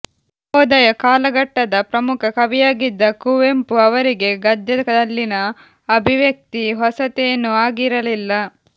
ನವೋದಯ ಕಾಲಘಟ್ಟದ ಪ್ರಮುಖ ಕವಿಯಾಗಿದ್ದ ಕುವೆಂಪು ಅವರಿಗೆ ಗದ್ಯದಲ್ಲಿನ ಅಭಿವ್ಯಕ್ತಿ ಹೊಸತೇನೂ ಆಗಿರಲಿಲ್ಲ